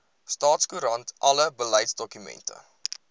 staatskoerant alle beleidsdokumente